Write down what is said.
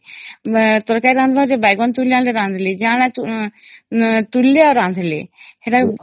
ତରକାରୀ ରାନ୍ଧିବନ ଯେ ବାଇଗଣ ତୁଳି ଆଣିଲେ ରାନ୍ଧିଲେ ତୁଲିଲେ ଆଉ ରାନ୍ଧିଲେ